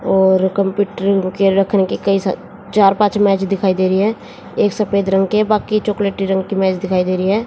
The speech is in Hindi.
और कंप्यूटर के रखने के कई सा चार पांच मेज दिखाई दे रही है एक सफेद रंग के बाकी चॉकलेटी रंग की मेज दिखाई दे रही है।